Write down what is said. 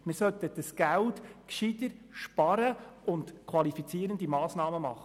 Wir sollten dieses Geld besser sparen und qualifizierende Massnahmen ergreifen.